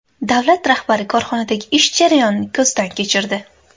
Davlat rahbari korxonadagi ish jarayonini ko‘zdan kechirdi.